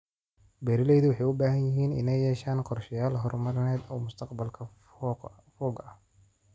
Beeralaydu waxay u baahan yihiin inay yeeshaan qorshayaal horumarineed oo mustaqbalka fog ah.